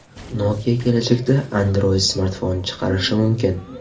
Nokia kelajakda Android-smartfon chiqarishi mumkin.